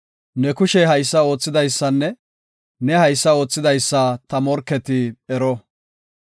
Ne kushey haysa oothidaysanne, ne haysa oothidaysa ta morketi ero.